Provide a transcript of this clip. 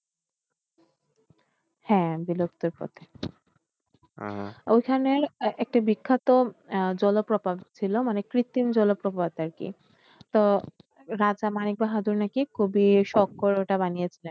হ্যাঁ বিলুপ্তির পথে ওইখানে একটা বিখ্যাত জলপ্রপাত ছিল মানে কৃত্রিম জলপ্রপাত আর কি। তো রাজা মানিক বাহাদুর নাকি খুবই শখ করে ওটা বানিয়েছিলেন।